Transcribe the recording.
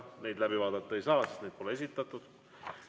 Neid läbi vaadata ei saa, sest neid pole esitatud.